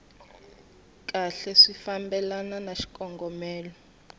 kahle swi fambelana na xikongomelo